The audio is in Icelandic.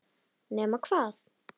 Nema hvað!